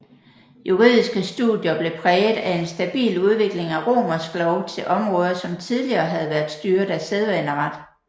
Juridiske studier blev præget af en stabil udvikling af romersk lov til områder som tidligere havde været styret af sædvaneret